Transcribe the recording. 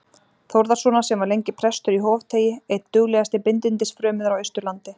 Þórðarsonar, sem var lengi prestur í Hofteigi, einn duglegasti bindindis- frömuður á Austurlandi.